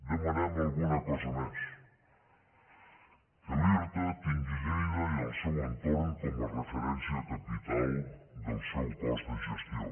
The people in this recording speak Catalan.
demanem alguna cosa més que l’irta tingui lleida i el seu entorn com a referència capital del seu cos de gestió